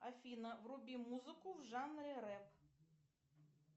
афина вруби музыку в жанре рэп